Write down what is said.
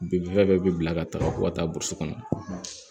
Binfɛn bɛɛ bi bila ka taa fo ka taa burusi kɔnɔ